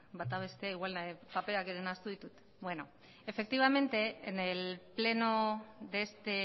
bata bestea igual paperak ere nahastu ditut efectivamente en el pleno de este